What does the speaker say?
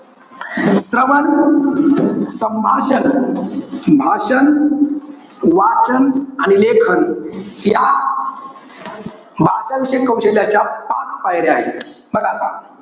श्रवण, संभाषण, भाषण, वाचन आणि लेखन या भाषाविषयक कौशल्याच्या पाच पायऱ्या आहेत. बघा आता.